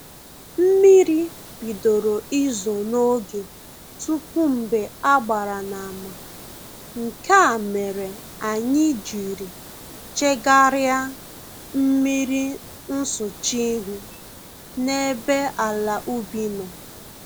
Mmiri bidoro izo n'oge tupu mgbe a gbara n'ama, nke a mere anyị jiri chegarịa mmiri nsụcha ihu n'ebe ala ubi nọ